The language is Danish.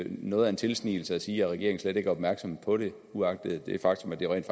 noget af en tilsnigelse at sige at regeringen slet ikke er opmærksom på det uagtet det faktum at det rent